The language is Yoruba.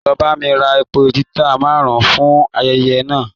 Lọ bá mí rà èpò lita márùn-ùn fún ayẹyẹ náà!